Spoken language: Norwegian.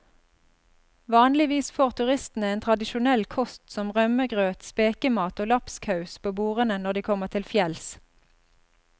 Vanligvis får turistene tradisjonell kost som rømmegrøt, spekemat og lapskaus på bordene når de kommer til fjells.